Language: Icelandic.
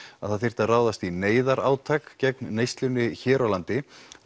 að það þyrfti að ráðast í gegn neyslunni hér á landi